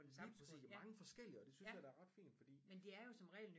Lige præcis og mange forskellige og det synes jeg da er ret fint fordi